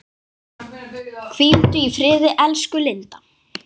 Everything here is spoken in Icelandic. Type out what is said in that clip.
Hvíldu í friði elsku Linda.